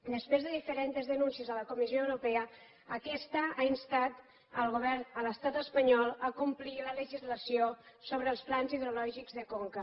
després de diferents denúncies a la comissió europa aquesta ha instat el govern a l’estat espanyol a complir la legislació sobre els plans hidrològics de conca